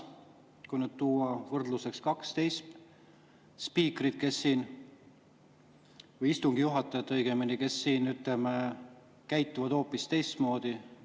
Kui tuua võrdluseks kaks teist spiikrit või istungi juhatajat, siis nemad, ütleme, käituvad hoopis teistmoodi.